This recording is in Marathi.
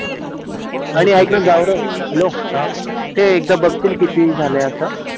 ते एकदा बघशील किती आले असं